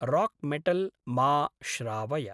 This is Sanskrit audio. राक्मेटल् मा श्रावय।